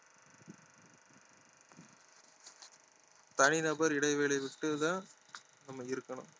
தனி நபர் இடைவெளி விட்டு தான் நம்ம இருக்கணும்